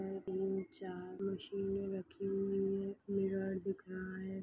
चार मशीने रखी हुई है एक मिरर दिख रहा है।